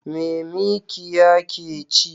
Me mikiya ke ci?